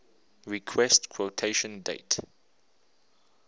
request quotation date